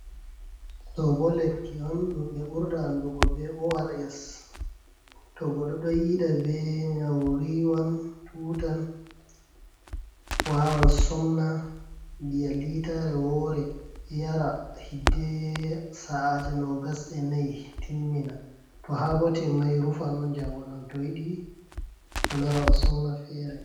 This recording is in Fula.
Ɗobo lekki on ɗum ɓe burda andugo be ors. To goɗɗo ɗo yida be nyau riwan, tutan wawan somna nbiya litare wore yara hidde sa'aje 24 timmina to habo tinmai rufan on jamgo bo to yidi o lora o somna fere.